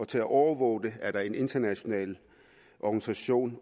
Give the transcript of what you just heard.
til at overvåge det er der en international organisation